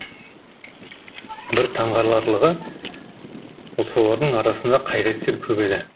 бір таңғаларлығы солардың арасында қайраткер көп еді